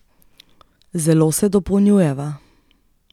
Zelo se dopolnjujeva.